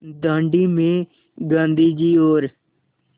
दाँडी में गाँधी जी और